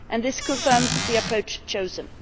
This has confirmed the approach chosen.